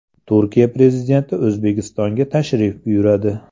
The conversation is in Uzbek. Turkiya prezidenti O‘zbekistonga tashrif buyuradi.